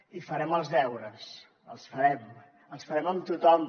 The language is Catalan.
i farem els deures els farem els farem amb tothom